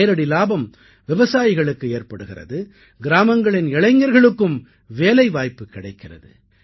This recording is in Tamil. இதன் நேரடி லாபம் விவசாயிகளுக்கு ஏற்படுகிறது கிராமங்களின் இளைஞர்களுக்கும் வேலைவாய்ப்பு கிடைக்கிறது